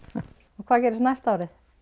hvað gerist næsta ár